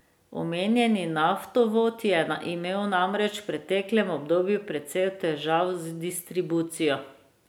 Omenjeni naftovod je imel namreč v preteklem obdobju precej težav z distribucijo.